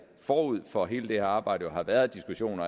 forud for hele det her arbejde har været diskussioner